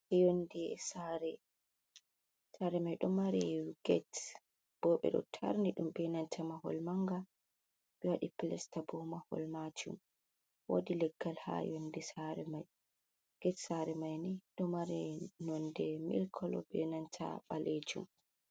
Yonde Sare: Sare mai ɗo mari ged. Bo ɓeɗo tarni ɗum be nanta mahol manga. Ɓe waɗi plesta bo mahol majum. Wodi leggal ha yonde sare mai. Ged sare mai ni ɗo mari nonde milik kolo be nanta ɓalejum.